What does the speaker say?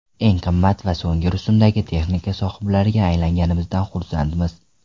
Eng qimmat va so‘nggi rusumdagi texnika sohiblariga aylanganimizdan xursandmiz.